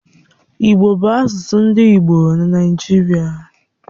Igbo bu asusu ndi igbo na Naijiria.